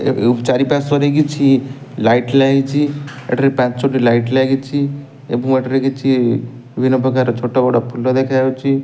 ଚାରିପାର୍ଶ୍ୱରେ କିଛି ଲାଇଟ ଲାଗିଛି ଏଠାରେ ପାଞ୍ଚଟି ଲାଇଟ୍ ଲାଗିଛି ଏବଂ ଏଠାରେ କିଛି ବିଭିନ୍ନ ପ୍ରକାର ଛୋଟ ବଡ଼ ଫୁଲ ଦେଖା ଯାଉଛି।